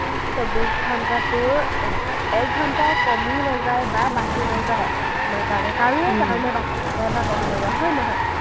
চৌবিশ ঘণ্টাটোৰ এক ঘণ্টাও কমি নাযায় বা বাঢ়ি নাযায় আমাৰ কাৰণে, কাৰোৱেই কাৰণে বাঢ়ি নাযায় বা কমি নাযায়, হয় নহয়?